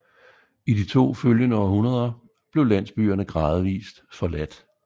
I de to følgende århundreder blev landsbyerne gradvist forladt